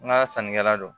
N ka sannikɛla don